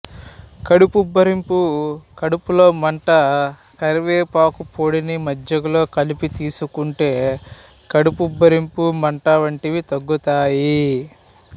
కడుపుబ్బరింపు కడుపులో మంట కరివేపాకు పొడిని మజ్జిగలో కలిపి తీసుకుంటే కడుపుబ్బరింపు మంట వంటివి తగ్గుతాయి